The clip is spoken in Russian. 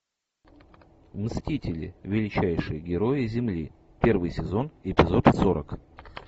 мстители величайшие герои земли первый сезон эпизод сорок